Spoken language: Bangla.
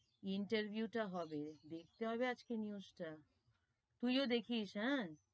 Interview টা হবে, দেখতে হবে আজকে news টা, তুই ও দেখিস, হেঁ,